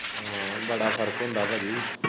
ਹਾਂ ਬੜਾ ਫਰਕ ਹੁੰਦਾ ਭਾਜੀ।